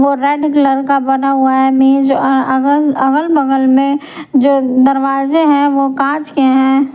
अगल बगल में जो दरवाजे हैवो कांच के है।